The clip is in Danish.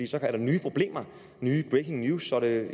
så er der nye problemer nye breaking news så er det